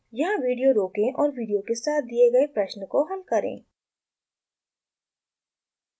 यहाँ विडियो रोकें और विडियो के साथ दिए गए प्रश्न को हल करें